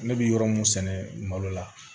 Ne bɛ yɔrɔ min sɛnɛ malo la